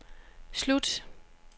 slut